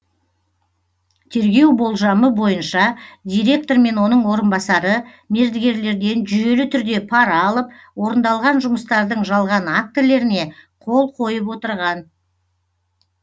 тергеу болжамы бойынша директор мен оның орынбасары мердігерлерден жүйелі түрде пара алып орындалған жұмыстардың жалған актілеріне қол қойып отырған